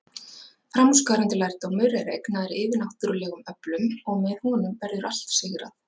Framúrskarandi lærdómur er eignaður yfirnáttúrlegum öflum, og með honum verður allt sigrað.